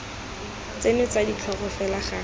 tseno tsa ditlhogo fela ga